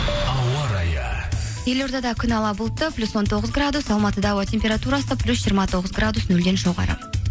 ауа райы елордада күн ала бұлтты плюс он тоғыз градус алматыда ауа температурасы плюс жиырма тоғыз градус нөлден жоғары